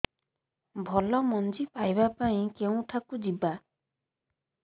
ଭଲ ମଞ୍ଜି ପାଇବା ପାଇଁ କେଉଁଠାକୁ ଯିବା